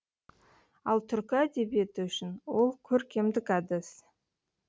ал түркі әдебиеті үшін ол көркемдік әдіс